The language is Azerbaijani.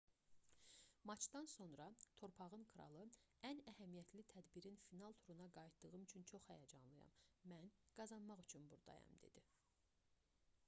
maçdan sonra torpağın kralı ən əhəmiyyətli tədbirin final turuna qayıtdığım üçün çox həyəcanlıyam mən qazanmaq üçün buradayam dedi